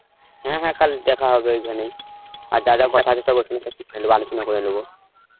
হ্যাঁ হ্যাঁ কাল দেখা হবে ওইখানেই, আর যা যা কথা সব ওখানে আলোচনা করে নেব